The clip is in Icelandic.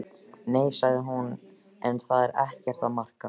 Nei, sagði hún, en það er ekkert að marka.